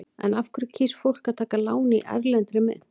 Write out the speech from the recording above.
En af hverju kýs fólk að taka lán í erlendri mynt?